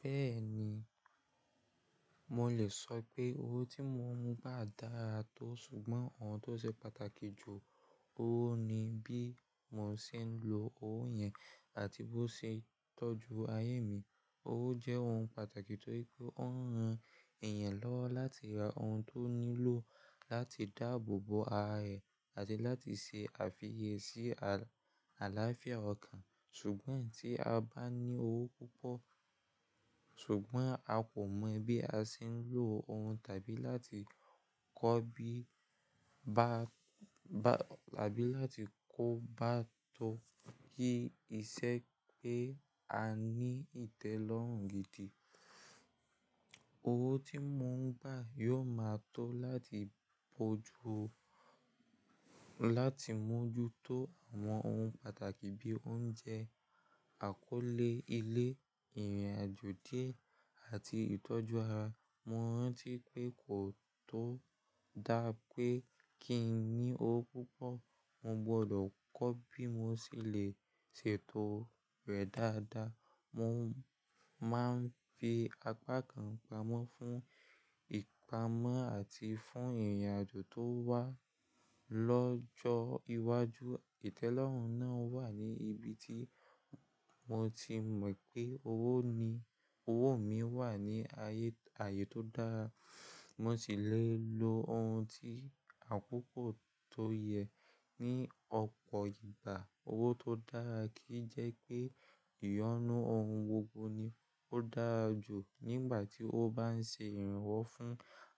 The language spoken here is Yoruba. Bẹ́ẹ̀ ni, mo lè sọ pé owó tí mo ń gbà dára tó, ṣùgbọ́n ohun tó ṣe pàtàkì jù owó ni bí mo ṣe ń lo owó yẹn àti bó ṣe ń tọ́jú ayé mi. Owó jẹ́ ohun pàtàkì torí pé ó ń ran èèyàn lọ́wọ́ láti ra ohun tó nílò, láti dáàbò bo ara ẹ̀ àti láti ṣe àfiyèsí al-àlàáfíà ọkàn. Ṣùgbọ́n tí a bá ní owó púpọ̀, ṣùgbọ́n a kò mọ̀ bí a ṣe ń lo òhun tàbí láti láti kó bá tó kí iṣe pé a ní ìtẹ́lọ́rùn gidi. Owó tí mo ń gbà yóò máa tó láti mójú tó àwọn ohun pàtàkì bí oúnjẹ, àkọ́lé ilé, ìrìnàjò díẹ̀ àti ìtọ́jú ara. Mo rántí pé kò tó dáa pé kí n ní owó púpọ̀, mo gbọdọ̀ kọ́ bí mo ṣe lè ṣètò rẹ̀ dáadáa. Mo máa ń fi apá kan pamọ́ fún ìpamọ́ àti fún ìrìnàjò tó wà lọ́jọ́ iwájú. Ìtẹ́lọ́rùn náà wà ní ibi tí mo ti mọ̀ pé owó mi wà ní ààyè tó dára, mo sì lè lo ohun tí àkokọ̀ tó yẹ ní ọ̀pọ̀ ìgbà. Owó tó dára kì jẹ́ pé ìyọnu ohun gbogbo ni ó dára jù nígbà tí ó bá ń ṣe ìrànwọ́ fún